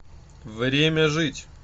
время жить